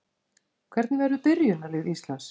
Hvernig verður byrjunarlið Íslands?